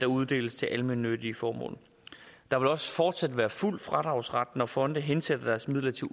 uddeles til almennyttige formål der vil også fortsat være fuld fradragsret når fonde hensætter deres midler til